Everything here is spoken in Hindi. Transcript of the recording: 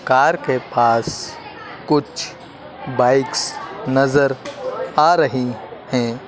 कार के पास कुछ बाइक्स नजर आ रही हैं।